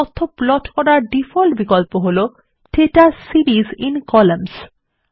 তথ্য প্লট করার ডিফল্ট বিকল্প হলো দাতা সিরিস আইএন কলাম্নস